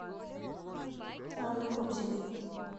анны кобзевой